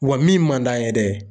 Wa min man d'an ye dɛ